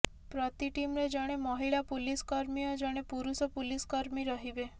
ପ୍ରତି ଟିମରେ ଜଣେ ମହିଳା ପୁଲିସ କର୍ମୀ ଓ ଜଣେ ପୁରୁଷ ପୁଲିସ କର୍ମୀ ରହିବେ